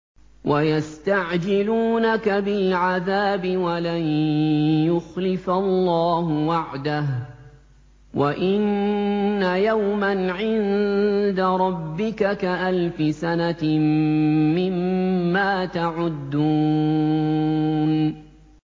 وَيَسْتَعْجِلُونَكَ بِالْعَذَابِ وَلَن يُخْلِفَ اللَّهُ وَعْدَهُ ۚ وَإِنَّ يَوْمًا عِندَ رَبِّكَ كَأَلْفِ سَنَةٍ مِّمَّا تَعُدُّونَ